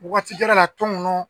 Waati kɛra a la tɔnkɔnɔ